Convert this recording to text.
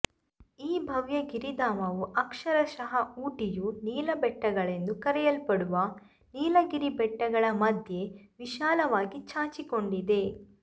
ಈ ಭವ್ಯ ಗಿರಿಧಾಮವು ಅಕ್ಷರಶಃ ಊಟಿಯು ನೀಲ ಬೆಟ್ಟಗಳೆಂದೂ ಕರೆಯಲ್ಪಡುವ ನೀಲಗಿರಿ ಬೆಟ್ಟಗಳ ಮಧ್ಯೆ ವಿಶಾಲವಾಗಿ ಚಾಚಿಕೊಂಡಿದೆ